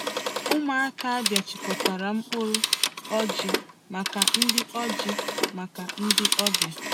Ụmụaka Abia chịkọtara mkpụrụ ọjị maka ndị ọjị maka ndị ọbịa.